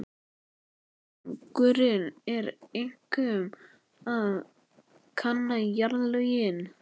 Tilgangurinn var einkum að kanna jarðlögin.